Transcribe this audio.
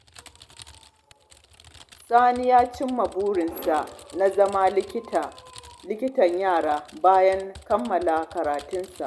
Sani ya cimma burinsa na zama likitan yara, bayan kammala karatunsa.